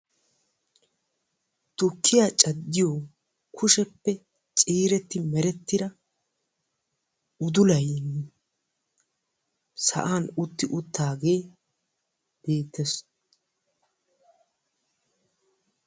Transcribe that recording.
Tukkiyaa caddiyo kushiyaan ciiretidi merettira udullay sa'an utti uttaage beettees.